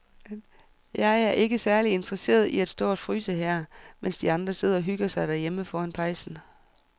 Jeg er ikke særlig interesseret i at stå og fryse her, mens de andre sidder og hygger sig derhjemme foran pejsen.